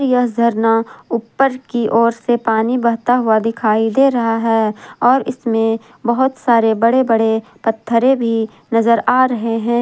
यह झरना उप्पर की ओर से पानी बहता हुआ दिखाई दे रहा है और इसमें बहुत सारे बड़े बड़े पत्थरे भी नजर आ रहे हैं।